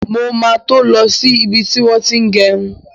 Mo ma to lọ sí ibi tí wọ́n ti ń gẹrun.